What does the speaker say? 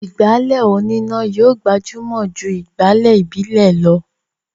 ìgbálẹ̀ oníná yóò gbajúmọ̀ jù ìgbálẹ̀ ìbílè lọ